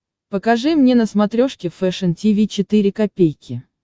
покажи мне на смотрешке фэшн ти ви четыре ка